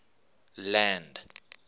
land